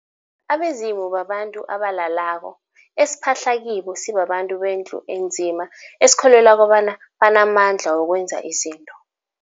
Abezimu babantu abalalako, esiphahla kibo sibabantu bendlu enzima esikholwela kobana banamandla wokwenza izinto.